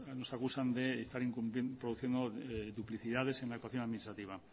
nos acusan de estar produciendo duplicidades en la actuación administrativa